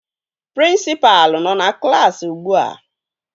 Prịnsịpalụ nọ na klaasị ugbua